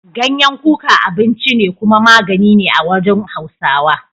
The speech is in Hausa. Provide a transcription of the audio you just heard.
Ganyen kuka abinci ne kuma magani a wurin Hausawa.